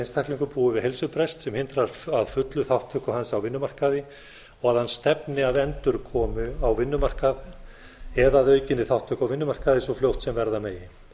einstaklingur búi við heilsubrest sem hindri fulla þátttöku hans á vinnumarkaði og að hann stefni að endurkomu á vinnumarkað eða að aukinni þátttöku á vinnumarkaði svo fljótt sem verða megi hins